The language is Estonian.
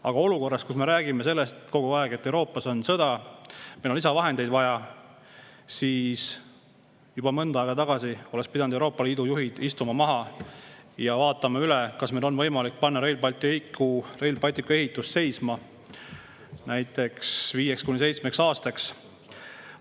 Aga olukorras, kus me räägime kogu aeg, et Euroopas on sõda, meil on lisavahendeid vaja, oleks juba mõnda aega tagasi pidanud Euroopa Liidu juhid maha istuma ja üle vaatama, kas meil on võimalik Rail Balticu ehitus seisma panna näiteks viieks kuni seitsmeks aastaks.